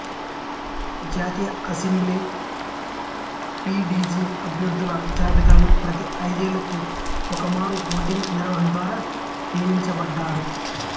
జాతీయ అసెంబ్లీకి పిడిజి అభ్యర్థుల జాబితాను ప్రతి ఐదేళ్లకు ఒకమారు ఓటింగు నిర్వహణ ద్వారా నియమించబడ్డారు